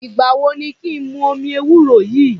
Ìgbà wo ni kí n mu omi ewúro yìí?